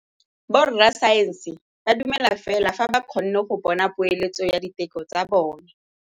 Borra saense ba dumela fela fa ba kgonne go bona poeletsô ya diteko tsa bone.